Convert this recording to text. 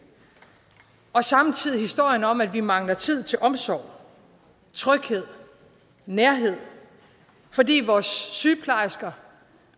og samtidig historien om at vi mangler tid til omsorg tryghed og nærhed fordi vores sygeplejersker